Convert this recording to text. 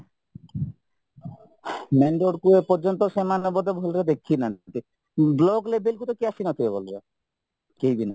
main roadକୁ ଏ ପର୍ଯ୍ୟନ୍ତ ସେମାନେ ବୋଧେ ଭଲରେ ଦେଖିନାହାନ୍ତି block levelକୁ କେହି ଆସିନଥିବେ ଭଲରେ କେହିବି ନାହିଁ